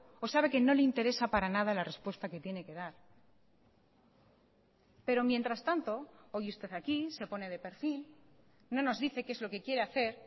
o sabe que no le interesa para nada la respuesta que tiene que dar pero mientras tanto hoy usted aquí se pone de perfil no nos dice que es lo qué quiere hacer